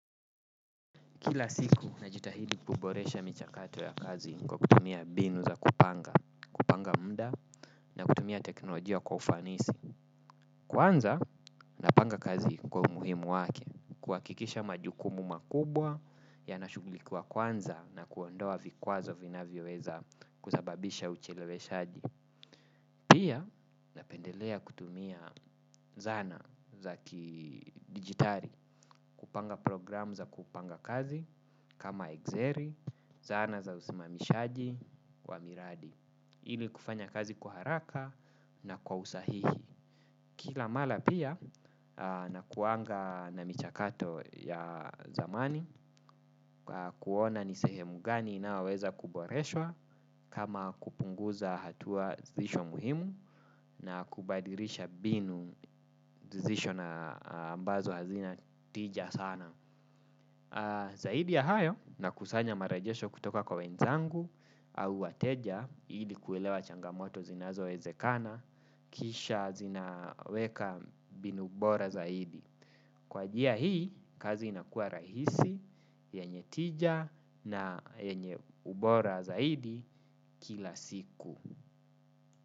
Kila siku najitahidi kuboresha michakato ya kazi kwa kutumia mbinu za kupanga, kupanga muda na kutumia teknolojia kwa ufanisi. Kwanza napanga kazi kwa umuhimu wake, kuhakikisha majukumu makubwa yana shughulikiwa kwanza na kuondoa vikwazo vinavyoweza kusababisha ucheleweshaji. Pia napendelea kutumia zana za ki digitali, kupanga programu za kupanga kazi kama exceli, zana za usimamishaji wa miradi. Ili kufanya kazi haraka na kwa usahihi. Kila mara pia na kuwanga na michakato ya zamani kuona ni sehemu gani inayoweza kuboreshwa kama kupunguza hatua zilizo muhimu na kubadilisha mbinu zisho na ambazo hazina tija sana. Zaidi ya hayo na kusanya marejesho kutoka kwa wenzangu au wateja ili kuelewa changamoto zinazo ezekana kisha zinaweka mbinu bora zaidi. Kwa njia hii kazi inakua rahisi, yenye tija na yenye ubora zaidi kila siku.